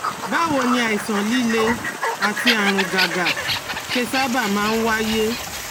Báwo ni àìsàn líle àti àrùn gágá ṣe sábà máa ń wáyé?